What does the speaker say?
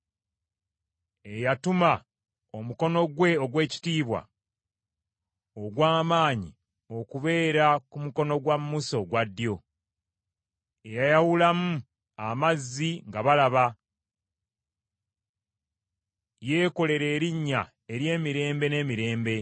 eyatuma omukono gwe ogw’ekitiibwa ogw’amaanyi okubeera ku mukono gwa Musa ogwa ddyo, eyayawulamu amazzi nga balaba, yeekolere erinnya ery’emirembe n’emirembe?